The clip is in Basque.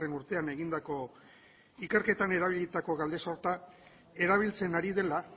urtean egindako ikerketan erabilitako galdesorta erabiltzen ari dela